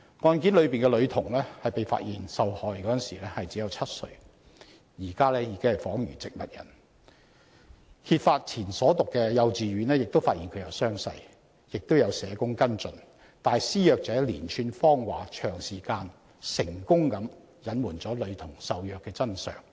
案中女童被發現受害時只有7歲，至今已仿如植物人，案件揭發前女童就讀的幼稚園亦發現她有傷勢，並由社工跟進，但施虐者的連串謊話卻能長時間成功隱瞞了女童受虐的真相。